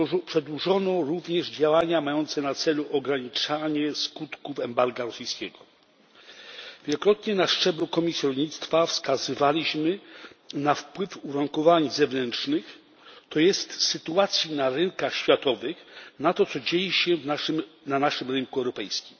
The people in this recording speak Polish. Przedłużono również działania mające na celu ograniczanie skutków rosyjskiego embarga. Wielokrotnie na szczeblu Komisji Rolnictwa wskazywaliśmy na wpływ uwarunkowań zewnętrznych to jest sytuacji na rynkach światowych na to, co dzieje się na naszym rynku europejskim.